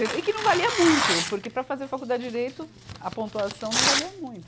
E que não valia muito, porque para fazer faculdade de Direito, a pontuação não valia muito.